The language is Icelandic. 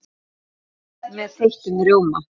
Gott með þeyttum rjóma!